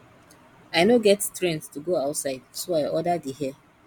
i no get strength to go outside so i order the hair